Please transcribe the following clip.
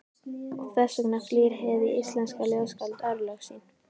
Og þess vegna flýr hið íslenska ljóðskáld örlög sín.